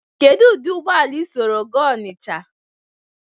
kedu ụdị ụgbọala i soro gaa Ọnịcha?